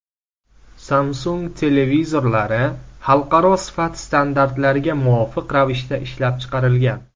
Samsung televizorlari xalqaro sifat standartlariga muvofiq ravishda ishlab chiqarilgan.